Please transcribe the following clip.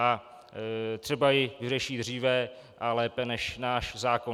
A třeba ji vyřeší dříve a lépe než náš zákon.